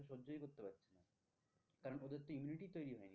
ওদের তো immunity তৈরী হয়নি